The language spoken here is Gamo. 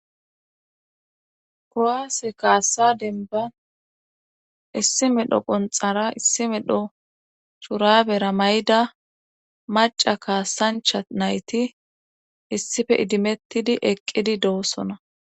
Kowaase kaassa denban issi medho qonxara issi medho curabera may'da maca kaasancha nayti issife idimettidi eqqidi doosona.